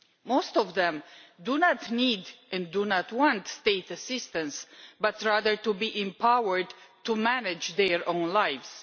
Most of them do not need and do not want state assistance, but rather want to be empowered to manage their own lives.